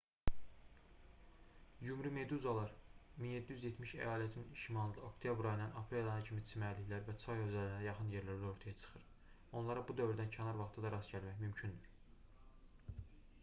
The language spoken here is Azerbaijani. yumrumeduzlar 1770 əyalətinin şimalında oktyabr ayından aprel ayına kimi çimərliklər və çay hövzələrinə yaxın yerlərdə ortaya çıxır onlara bu dövrdən kənar vaxtda da rast gəlmək mümkündür